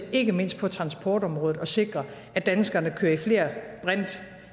ikke mindst på transportområdet til at sikre at danskerne kører i flere brint